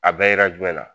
A bɛɛ ye na